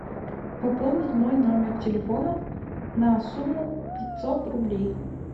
пополнить мой номер телефона на сумму пятьсот рублей